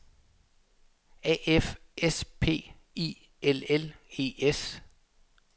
A F S P I L L E S